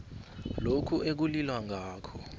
lokho ekulilwa ngakho